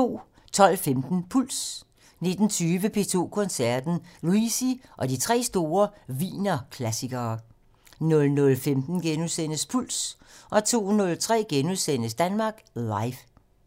12:15: Puls 19:20: P2 Koncerten - Luisi og de tre store Wienerklassikere 00:15: Puls * 02:03: Danmark Live *